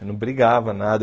Eu não brigava, nada.